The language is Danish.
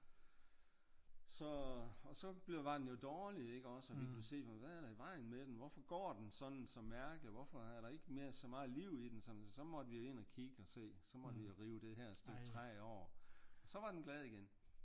Så og så var den jo dårlig ikke også og vi kunne se på den hvad er der i vejen med den hvorfor går den sådan så mærkeligt og hvorfor er der ikke nær så meget liv i den som så måtte vi jo ind og kigge og se så måtte vi jo rive det her stykke træ over og så var den glad igen